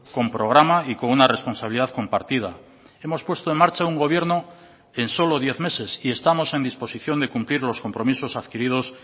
con programa y con una responsabilidad compartida hemos puesto en marcha un gobierno en solo diez meses y estamos en disposición de cumplir los compromisos adquiridos